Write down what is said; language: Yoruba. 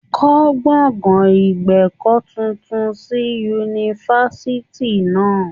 Kọ́ gbọ̀gán ìgbẹ̀kọ́ tuntun sí yunifásitì náà.